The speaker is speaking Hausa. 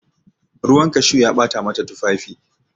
Ruwan cashew ya bata mata tufafi.